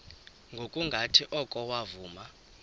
ngokungathi oko wavuma